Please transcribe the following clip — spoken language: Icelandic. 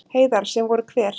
Heiðar: Sem voru hver?